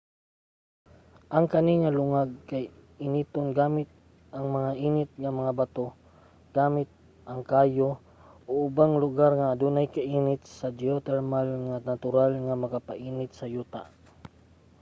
ang kani nga lungag kay initon gamit ang mga init nga mga bato gamit ang kayo o sa ubang mga lugar nga adunay kainit nga geothermal nga natural nga makapainit sa yuta